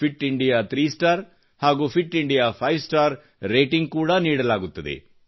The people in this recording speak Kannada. ಫಿಟ್ ಇಂಡಿಯಾ ಥ್ರೀ ಸ್ಟಾರ್ ಹಾಗೂ fit India five star rating ಕೂಡಾ ನೀಡಲಾಗುತ್ತದೆ